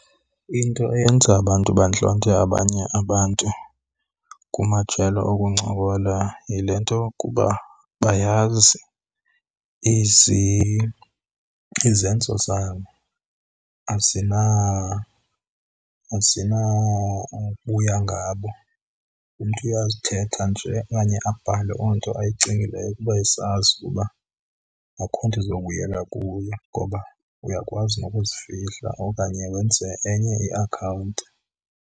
Into eyenza abantu bantlonte abanye abantu kumajelo okuncokola yile nto yokuba bayazi izenzo zabo azinawubuya ngabo. Umntu uyazithetha nje okanye abhale loo onto ayicingileyo kuba esazi uba akho nto izobuyela kuye. Ngoba uyakwazi nokuzifihla okanye wenze enye iakhawunti.